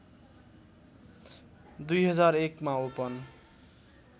२००१ मा ओपन